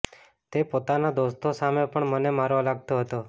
તે પોતાના દોસ્તો સામે પણ મને મારવા લાગતો હતો